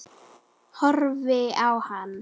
Horfi á hana.